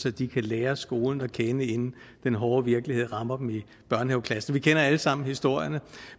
at de kan lære skolen at kende inden den hårde virkelighed rammer dem i børnehaveklassen vi kender alle sammen historierne